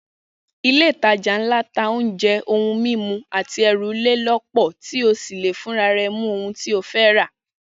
Ilé-ìtajà ńlá ń ta oúnjẹ, ohun mímu àtẹrù ilé lọ́pọ̀, to sì lè fúnra rẹ mú ohun to fẹ́ rà